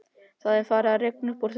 Það er farið að rigna upp úr þurru.